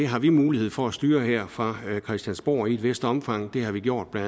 har vi mulighed for at styre her fra christiansborg i et vist omfang det har vi gjort med